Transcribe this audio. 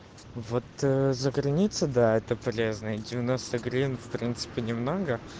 вот заграница да это полезное гривень в принципе немного